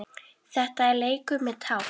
Þetta er leikur með tákn